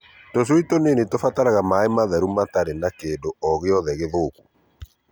Tũcui tũnini tũbataraga maaĩ matheru matari na kĩndũ o gĩothe gĩthũku.